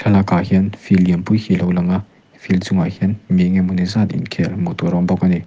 thlalak ah hian field lian pui mai hi alo lang a field chungah hian mi eng emaw zat inkhel hmuh tur a awm bawk ani.